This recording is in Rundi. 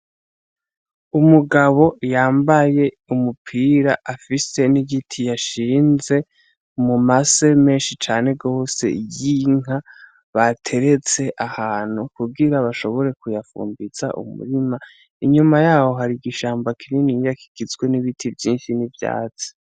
Umugabo yambaye umupira afise n'igiti yashinze umumase menshi cane rose yinka bateretse ahantu kubwira bashobore kuyafumbiza umurima inyuma yaho hari igishamba kinini ngakigizwe n'ibiti vyinshi n'ivyazi.